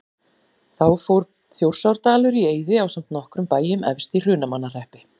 Þá fór Þjórsárdalur í eyði ásamt nokkrum bæjum efst í Hrunamannahreppi.